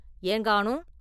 “ஏங்காணும் ?